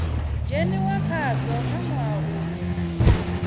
dzheniwa khadzo kha ṅwaha uyo